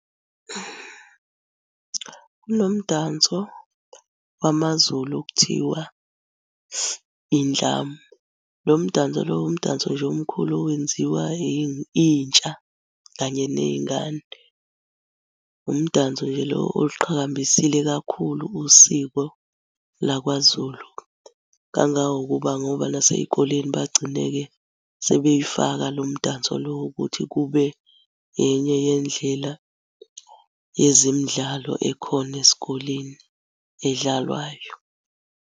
Kunomdanso wamaZulu okuthiwa indlamu. Lo mdanso lo umdanso nje omkhulu owenziwa intsha kanye ney'ngane. Umdanso nje lo oliqhakambisile kakhulu usiko lwakwaZulu. Kangangokuba ngoba nasey'koleni bagcine-ke sebeyifaka lo mdanso lo wokuthi kube enye yendlela yezemidlalo ekhona esikoleni edlalwayo.